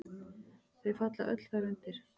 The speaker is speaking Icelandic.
Þau falla öll þar undir.